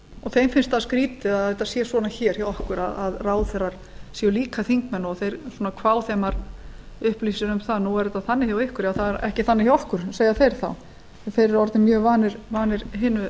þeim finnst það skrýtið að þetta sé svona hjá okkur að ráðherrar séu líka þingmenn og þeir upplýsir um það nú er þetta þannig hjá ykkur en það er ekki þannig hjá okkur segja þeir þá þeir eru orðnir mjög vanir hinu